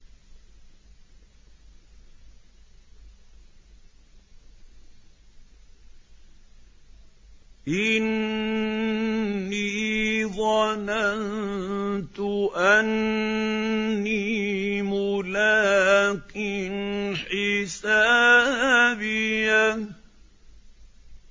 إِنِّي ظَنَنتُ أَنِّي مُلَاقٍ حِسَابِيَهْ